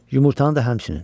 Yumurtanı da həmçinin.